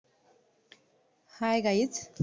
hi guys